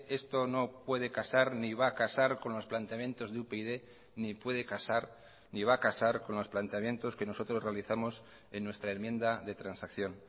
esto no puede casar ni va a casar con los planteamientos de upyd ni puede casar ni va a casar con los planteamientos que nosotros realizamos en nuestra enmienda de transacción